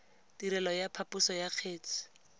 tirelo ya phaposo ya kgetse